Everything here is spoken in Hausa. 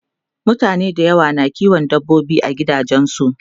mutane da yawa na kiwon dabbobi a gidajensu